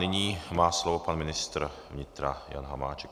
Nyní má slovo pan ministr vnitra Jan Hamáček.